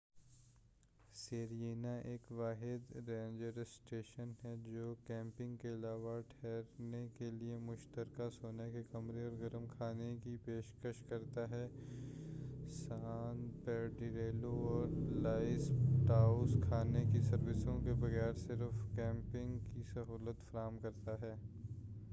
Serena ایک واحد ranger station ہے جو کیمپنگ کے علاوہ ٹھہرنے کیلئے مشترکہ سونے کے کمرے اور گرم کھانے کی پیشکش کرتا ہے سان پیڈریلو اور لاس پاٹوس کھانے کی سروس کے بغیر صرف کیمپنگ کی سہولت فراہم کرتا ہے